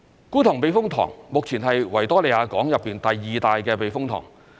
觀塘避風塘目前是維多利亞港內第二大的避風塘。